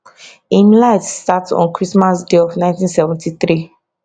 im life start on christmas day of 1973